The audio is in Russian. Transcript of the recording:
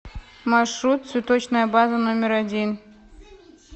маршрут цветочная база номер один